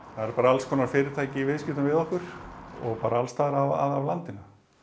það eru bara alls konar fyrirtæki í viðskiptum við okkur og bara alls staðar að af landinu